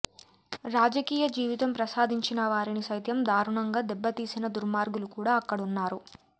రాజకీయ జీవితం ప్రసాదించిన వారిని సైతం దారుణంగా దెబ్బతీసిన దుర్మార్గులు కూడా అక్కడున్నారు